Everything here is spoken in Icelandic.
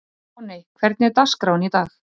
Voney, hvernig er dagskráin í dag?